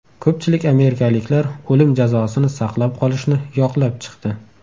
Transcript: Ko‘pchilik amerikaliklar o‘lim jazosini saqlab qolishni yoqlab chiqdi.